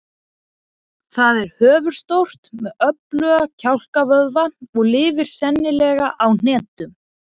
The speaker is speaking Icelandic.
Það er höfuðstórt með öfluga kjálkavöðva og lifir sennilega á hnetum.